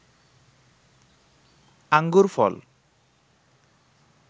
আঙ্গুর ফল